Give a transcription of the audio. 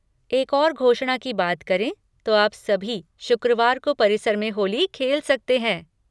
एक और घोषणा की बात करें तो आप सभी शुक्रवार को परिसर में होली खेल सकते हैं।